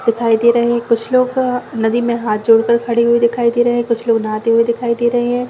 दिखाई दे रहे है कुछ लोग अ नदी में हाथ जोड़ कर खड़े हुए दिखाई दे रहे है कुछ लोग नाहते हुए दिखाई दे रहे है।